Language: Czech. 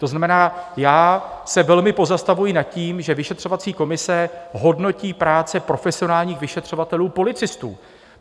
To znamená, já se velmi pozastavují nad tím, že vyšetřovací komise hodnotí práci profesionálních vyšetřovatelů-policistů.